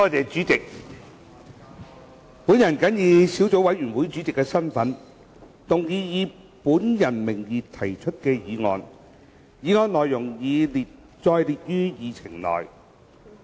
主席，本人謹以小組委員會主席的身份，動議以本人名義提出的議案，議案內容已載列於議程內。